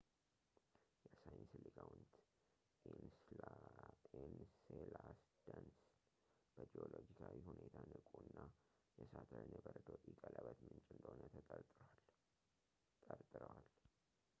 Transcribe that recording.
የሳይንስ ሊቃውንት ኢንሴላደስን በጂኦሎጂካዊ ሁኔታ ንቁ እና የሳተርን የበረዶ ኢ ቀለበት ምንጭ እንደሆነ ጠርጥረዋል